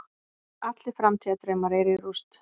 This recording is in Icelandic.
Allir framtíðardraumar eru í rúst.